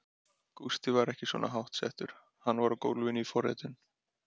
Gústi var ekki svona hátt settur, hann var á gólfinu í forritun.